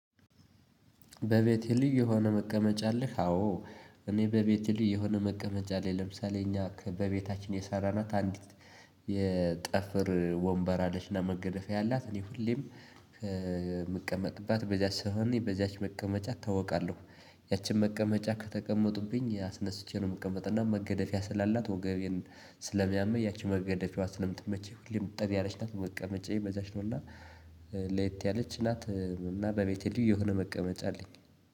በቤቴ ልዩ የሆነ መቀመጫ አለህ? አዎ እኔ በቤቴ ልዩ የሆነ መቀመጫ አለኝ። ለምሳሌ እኛ በቤታችን የሰራና አንዲት የጠፍር ወንበር አለችና መገደፌ ያላት እኔ ሁሌም ከምቀመጥባት በዚያ ስሆን በዚያች መቀመጫ ታውቃለሁ። ያችን መቀመጫ ከተቀመጡብኝ ያስነስቼ ነው የምቀመጥ። እና መገደፊያ ስላላት ወገቤን ስለሚያመኝ ያቺ መገደፊያዋ ስለምትመቸኝ ሁሌም እጠር ያለች ናት። መቀመጫዬ በዚያች ነውና ለየት ያለች ናት። እና በቤቴ ልዩ የሆነ መቀመጫ አለኝ።